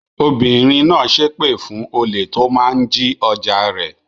Obìnrin náà ṣépè fún olè tó máa ń jí ọjà rẹ̀.